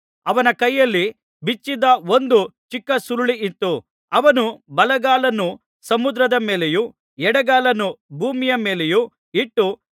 ಅವನ ಕೈಯಲ್ಲಿ ಬಿಚ್ಚಿದ್ದ ಒಂದು ಚಿಕ್ಕ ಸುರುಳಿ ಇತ್ತು ಅವನು ಬಲಗಾಲನ್ನು ಸಮುದ್ರದ ಮೇಲೆಯೂ ಎಡಗಾಲನ್ನು ಭೂಮಿಯ ಮೇಲೆಯೂ ಇಟ್ಟು